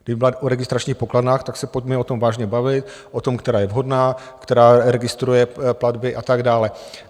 Kdyby byla o registračních pokladnách, tak se pojďme o tom vážně bavit, o tom, která je vhodná, která registruje platby a tak dále.